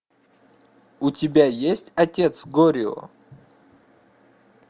у тебя есть отец горио